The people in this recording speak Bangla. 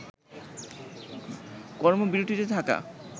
কর্মবিরতিতে থাকা